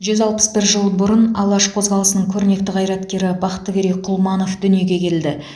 жүз алпыс бір жыл бұрын алаш қозғалысының көрнекті қайраткері бақтыгерей құлманов дүниеге келді